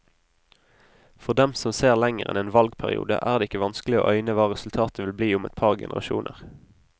For dem som ser lenger enn en valgperiode, er det ikke vanskelig å øyne hva resultatet vil bli om et par generasjoner.